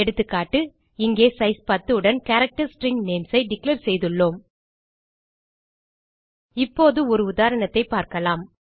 எகா இங்கே சைஸ் 10 உடன் கேரக்டர் ஸ்ட்ரிங் நேம்ஸ் ஐ டிக்ளேர் செய்துள்ளோம் இப்போது ஒரு உதாரணத்தைப் பார்க்கலாம்